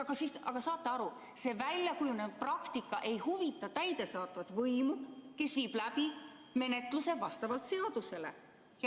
Saate aru, see väljakujunenud praktika ei huvita täidesaatvat võimu, kes viib läbi menetluse vastavalt seadusele.